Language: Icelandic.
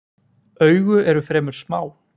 Augu eru fremur smá.